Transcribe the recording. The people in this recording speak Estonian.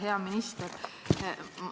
Hea minister!